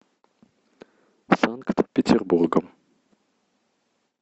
санкт петербургом